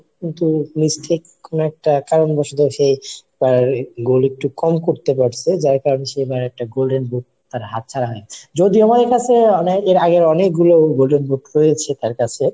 কিন্তু নিশ্চিত কোনো একটা কারণবশত সেই তার গোল একটু কম করতে পারছে যার কারণে সেবার একটা golden boot তার হাত ছাড়া হয়েছে. যদি আমাদের কাছে অনেক এর আগের অনেকগুলো golden boot রয়েছে তার কাছে।